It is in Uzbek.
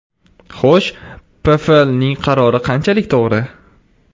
Xo‘sh, PFLning qarori qanchalik to‘g‘ri?